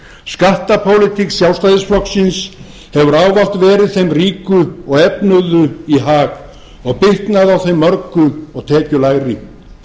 skattapólitík sjálfstæðisflokksins hefur ávallt verið þeim ríku og efnuðu í hag og bitnaði á þeim mörgu og tekjulægri